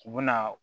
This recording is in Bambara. U bɛna